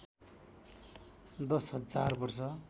दश हजार वर्ष